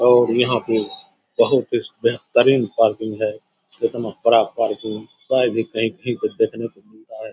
और यहाँ पे बहुत ही बेहतरीन पार्किंग है इतना बड़ा पार्किंग शायद ही कहीं कहीं पर देखने को मिलता है ।